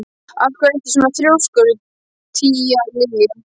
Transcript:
Af hverju ertu svona þrjóskur, Tíalilja?